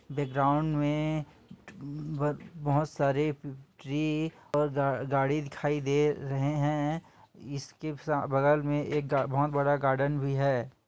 Background में बह बहोत सारे ट्री और गाड़ी दिखाई दे रहे हैं इसके सा-- बगल मे एक बहोत बड़ा गार्डन भी है।